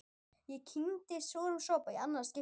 Ég kyngi súrum sopa í annað skipti.